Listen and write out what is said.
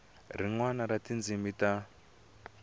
rin wana ra tindzimi ta